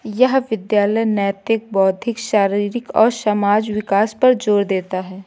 यह विद्यालय नैतिक बौद्धिक शारिरिक और समाज विकास पर जोर देता है।